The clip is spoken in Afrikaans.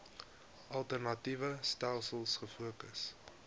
alternatiewe stelsels gefokus